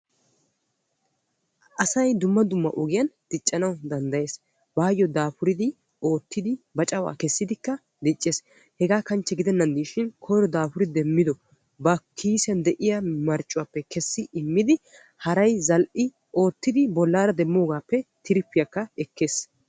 ASay dumma dumma ogiyan diccanna danddayees, baayo daafuriddi oottiddikka diccees qassikka ba marccuwa kessi asawu immiddi palahakka ekkees.